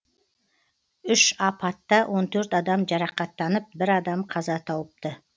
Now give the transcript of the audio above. үш апатта он төрт адам жарақаттанып бір адам қаза тауыпты